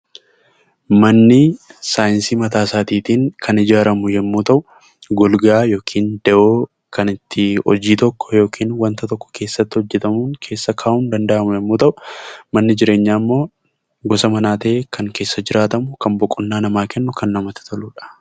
Manni saayinsii mataasaatiin kan ijaaramu yommuu ta'u golgaa yookiin da'oo kan itti hojii tokko yookiin waanta tokko keessatti hojjetamu keessa kaa'uun danda'amu yommuu ta'u, manni jireenyaa ammoo gosa jireenyaa ta'ee kan keessa jiraatamu, kan boqonnaa namaa kennu, kan namatti toludha.